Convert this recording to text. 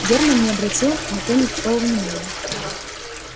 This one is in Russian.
германн не обратил на то никакого внимания